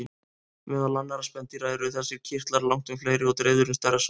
Meðal annarra spendýra eru þessir kirtlar langtum fleiri og dreifðir um stærra svæði.